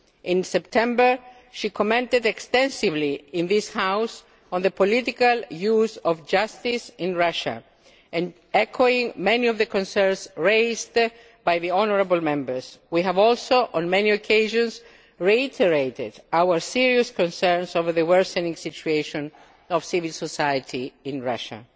In September she commented extensively in this House on the political use of justice in Russia, echoing many of the concerns raised by the honourable Members. We have also, on many occasions, reiterated our serious concerns over the worsening situation of civil society in Russia.